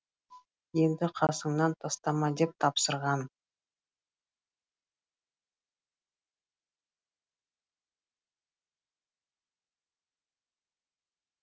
енді қасыңнан тастама деп тапсырған